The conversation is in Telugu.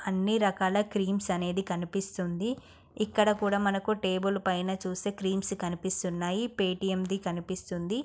అన్ని రకాల క్రీమ్స్ అనేది కనిపిస్తుంది. ఇక్కడ కూడా మనకు టేబుల్ పైన చూస్తే క్రీమ్స్ కనిపిస్తున్నాయి. పే_టీ_ఎం ది కనిపిస్తుంది.